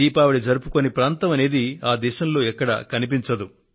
దీపావళి జరుపుకోని ప్రాంతం అనేది ఆ దేశంలో ఎక్కడా కనిపించదు